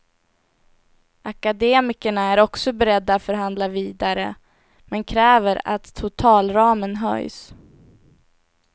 Akademikerna är också beredda förhandla vidare, men kräver att totalramen höjs.